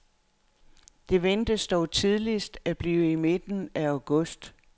Det ventes dog tidligst at blive i midten af august.